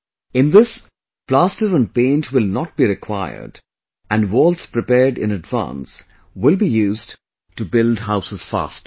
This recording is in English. In this plaster and paint will not be required and walls prepared in advance will be used to build houses faster